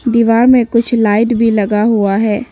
दीवार में कुछ लाइट भी लगा हुआ है।